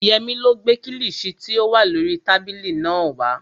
Yẹmí ló gbé kílìṣí tí ó wà lórii tábìlì náà wá